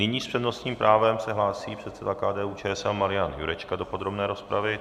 Nyní s přednostním právem se hlásí předseda KDU-ČSL Marian Jurečka do podrobné rozpravy.